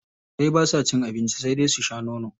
Jarirai basa cin abinci sai dai su sha nono.